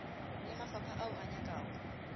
le mafapha ao a nyakago